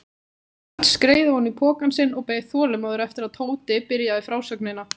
Örn skreið ofan í pokann sinn og beið þolinmóður eftir að Tóti byrjaði frásögnina.